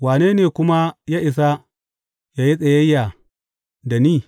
Wane ne kuma ya isa yă yi tsayayya da ni?